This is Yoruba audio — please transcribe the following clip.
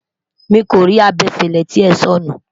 miko rí abefele tí é sọnu